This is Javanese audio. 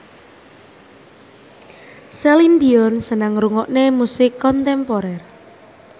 Celine Dion seneng ngrungokne musik kontemporer